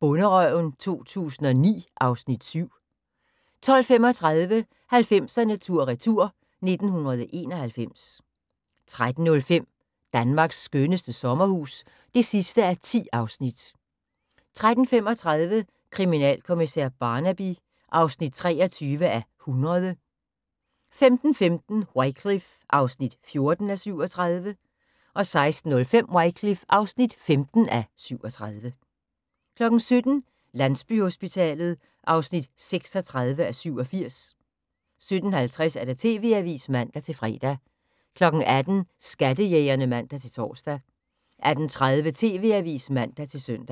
Bonderøven 2009 (Afs. 7) 12:35: 90'erne tur retur: 1991 13:05: Danmarks skønneste sommerhus (10:10) 13:35: Kriminalkommissær Barnaby (23:100) 15:15: Wycliffe (14:37) 16:05: Wycliffe (15:37) 17:00: Landsbyhospitalet (36:87) 17:50: TV-avisen (man-fre) 18:00: Skattejægerne (man-tor) 18:30: TV-avisen (man-søn)